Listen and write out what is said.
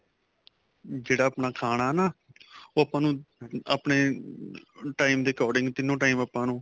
ਜਿਹੜਾ ਆਪਣਾ ਖਾਣਾ ਨਾ ਉਹ ਆਪਾਂ ਨੂੰ ਆਪਣੇ time ਦੇ according ਤਿੰਨੋ time ਆਪਾਂ ਨੂੰ